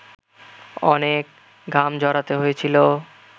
অনেক ঘাম ঝরাতে হয়েছিল